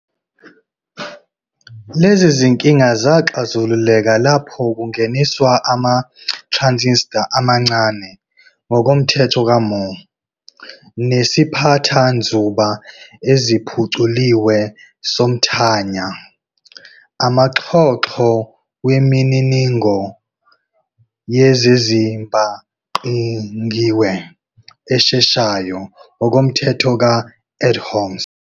Lezi zinkinga zaxazululeka lapho kungeniswa ama-transistor amancane, ngokomthetho ka-Moore, nesiphathanzuba eziphuculiwe somthanya, amaxhoxho wemininingo yezezibhangqiwe esheshayo, ngokomthetho ka-Edholms.